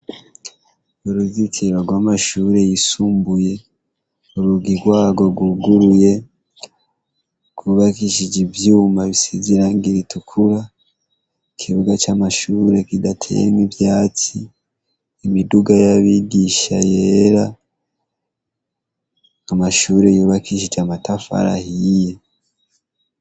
Uruzikiro rw'amashure yisumbuye uruga irwago ruguruye kubakishije ivyuma bisizirangiri itukura ikibuga c'amashure kidateyemwa ivyati imiduga y'abigisha yera amashure uro yubakishica mataf alah iyiye.